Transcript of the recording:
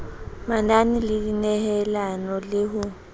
manane le dinehelano le ho